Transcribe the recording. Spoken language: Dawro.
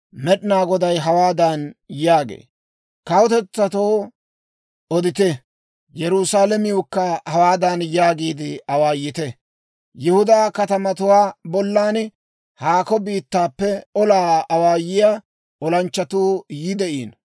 Med'inaa Goday hawaadan yaagee; «Kawutetsatoo odite; Yerusaalamiwukka hawaadan yaagiide awaayite; Yihudaa katamatuwaa bollan, ‹Haako biittaappe olaa awaayiyaa olanchchatuu yi de'iino;